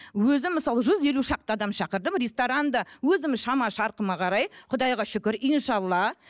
өзім мысалы жүз елу шақты адам шақырдым ресторанда өзімнің шама шарқыма қарай құдайға шүкір иншалла